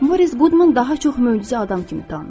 Moris Qudman daha çox möcüzə adam kimi tanınır.